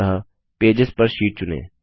अतः pages per sheet चुनें